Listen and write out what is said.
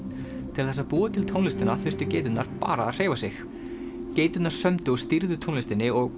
til þess að búa til tónlistina þurftu geiturnar bara að hreyfa sig geiturnar semja og stýra tónlistinni og